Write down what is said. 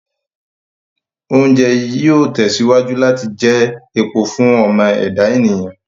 Oúnjẹ yìí ó tẹ̀síwájú láti jẹ epo fún ọmọ ẹ̀dá ènìyàn